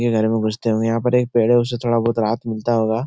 ये घर में घुसते ही यहाँ पर एक पेड़ है । उससे थोडा बहुत राहत मिलता होगा ।